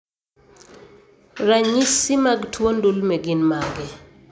Ranyisi mag tuo ndulme gin mage?